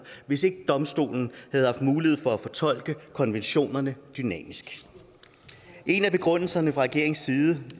hvis ikke domstolen havde haft mulighed for at fortolke konventionerne dynamisk en af begrundelserne fra regeringens side